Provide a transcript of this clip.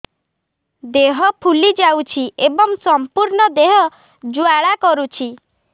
ଦେହ ଫୁଲି ଯାଉଛି ଏବଂ ସମ୍ପୂର୍ଣ୍ଣ ଦେହ ଜ୍ୱାଳା କରୁଛି